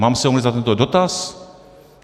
Mám se omluvit za tento dotaz?